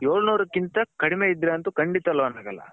ಎಲ್ನೂರು ಗಿಂತ ಕಡಿಮೆ ಇದ್ರೆ ಕಂಡಿತ loan ಆಗಲ್ಲ.